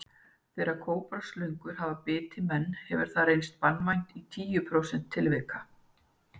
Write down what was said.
Þegar kóbraslöngur hafa bitið menn hefur hefur það reynst banvænt í tíu prósentum tilvika.